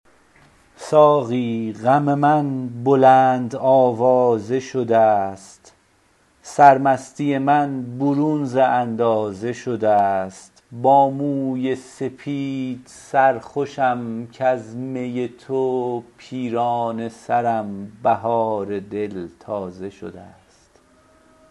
ساقی غم من بلند آوازه شده است سرمستی من برون ز اندازه شده است با موی سپید سرخوشم کز می تو پیرانه سرم بهار دل تازه شده است